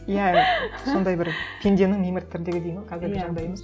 иә сондай бір пенденің мимырт тірлігі дейді ме қазіргі жағдайымыз